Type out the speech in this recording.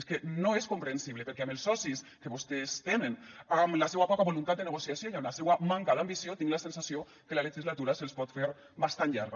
és que no és comprensible perquè amb els socis que vostès tenen amb la seua poca voluntat de negociació i amb la seua manca d’ambició tinc la sensació que la legislatura se’ls pot fer bastant llarga